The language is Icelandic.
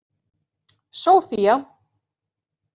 Sófía